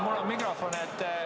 Mul on mikrofon.